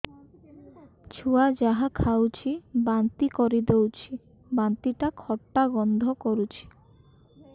ଛୁଆ ଯାହା ଖାଉଛି ବାନ୍ତି କରିଦଉଛି ବାନ୍ତି ଟା ଖଟା ଗନ୍ଧ କରୁଛି